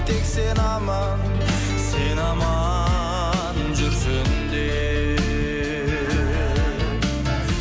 тек сені аман сен аман жүрсін деп